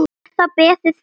Er þá beðið fyrir sér.